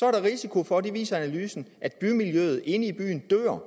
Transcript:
er der risiko for det viser analysen at bymiljøet inde i byen dør